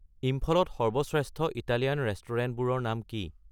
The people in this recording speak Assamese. ইম্ফলত সৰ্বশ্ৰেষ্ঠ ইটালিয়ান ৰেস্তোৰাঁবোৰৰ নাম কি